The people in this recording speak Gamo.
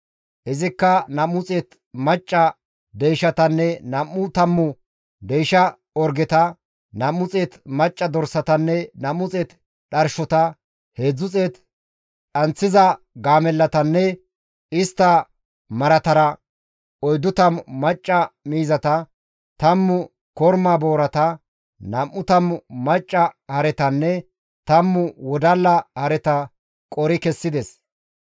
Izikka 200 macca deyshatanne nam7u tammu deysha orgeta, 200 macca dorsatanne 200 dharshota, 300 dhanththiza gaamellatanne istta maratara, 40 miizata, 10 korma boorata, 20 macca haretanne 10 wodalla hareta qori kessides.